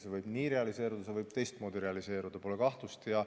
See võib nii realiseeruda, see võib ka teistmoodi realiseeruda, selles pole kahtlust.